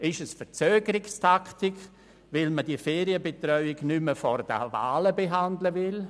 Ist es eine Verzögerungstaktik, weil man die Ferienbetreuung nicht mehr vor diesen Wahlen behandeln will?